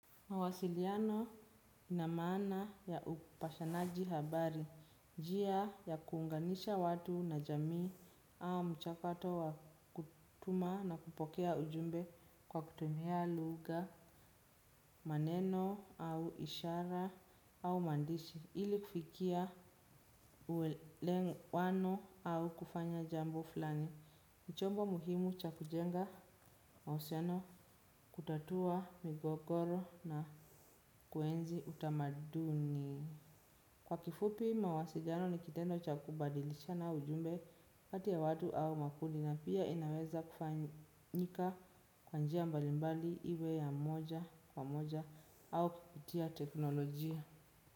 Mawasiliano inamaana ya upashanaji habari, njia ya kuunganisha watu na jamii au mchakato wa kutuma na kupokea ujumbe kwa kutumia lugha, maneno au ishara au maandishi, ili kufikia uwelewano au kufanya jambo fulani. Chombo muhimu cha kujenga mahusiano kutatua migogoro na kuenzi utamaduni. Kwa kifupi mawasiliano ni kitendo cha kubadilishana ujumbe kati ya watu au makundi na pia inaweza kufanyika kwa njia mbalimbali iwe ya moja kwa moja au kipitia teknolojia.